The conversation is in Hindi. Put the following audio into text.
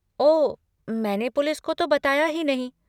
ओह, मैंने पुलिस को तो बताया ही नहीं।